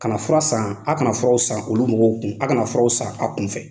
Kana fura san, a kana furaw san olu mɔgɔw kun. A kana furaw san a kun fɛ.